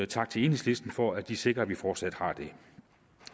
tak til enhedslisten for at de sikrer at vi fortsat har det